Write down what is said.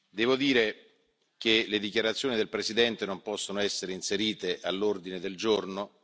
devo dire che le dichiarazioni del Presidente non possono essere inserite all'ordine del giorno.